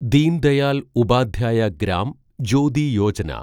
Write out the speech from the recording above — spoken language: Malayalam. ദീൻ ദയാൽ ഉപാധ്യായ ഗ്രാം ജ്യോതി യോജന